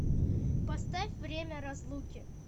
поставь время разлуки